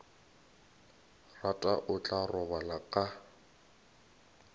rata o tla robala ka